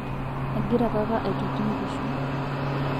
egira papa aitoti nkishu